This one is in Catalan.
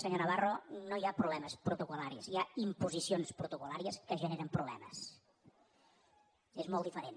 senyor navarro no hi ha problemes protocol·laris hi ha imposicions protocollàries que generen problemes és molt diferent